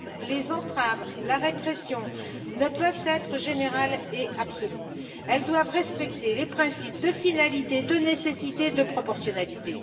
Les entraves, la répression ne peuvent être générales et absolues, elles doivent respecter les principes de finalité, de nécessité, de proportionnalité.